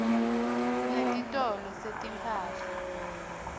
sinetitolo setimphahla